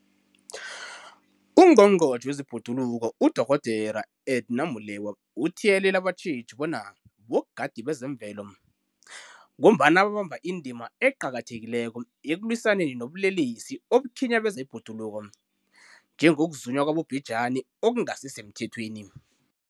UNgqongqotjhe wezeBhoduluko uDorh Edna Molewa uthiyelele abatjheji bona bogadi bezemvelo, ngombana babamba indima eqakathekileko ekulwisaneni nobulelesi obukhinyabeza ibhoduluko, njengokuzunywa kwabobhejani okungasisemthethweni.